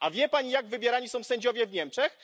A wie Pani, jak wybierani są sędziowie w Niemczech?